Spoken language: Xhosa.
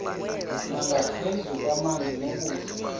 nangaphezu kwamanzi nokutya